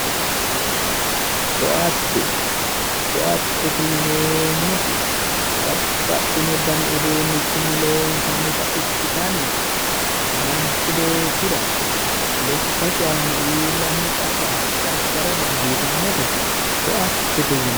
Koatte, koattete yineemmoti babbaxino dani uduunninni loonsannita ikkitanna manchu beettira lekkasi aana iillanno qarra gargara dandiitannota koattete yinanni.